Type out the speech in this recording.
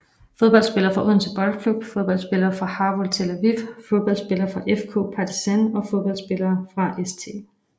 Fodboldspillere fra Odense Boldklub Fodboldspillere fra Hapoel Tel Aviv Fodboldspillere fra FK Partizan Fodboldspillere fra St